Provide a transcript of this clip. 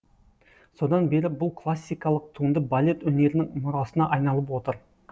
содан бері бұл классикалық туынды балет өнерінің мұрасына айналып отыр